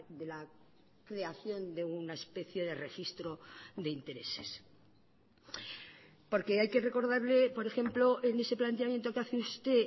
de la creación de una especie de registro de intereses porque hay que recordarle por ejemplo en ese planteamiento que hace usted